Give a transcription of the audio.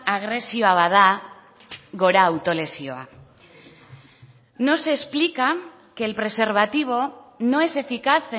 agresioa bada gora autolesioa no se explica que el preservativo no es eficaz